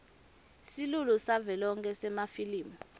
silulu savelonkhe semafilimu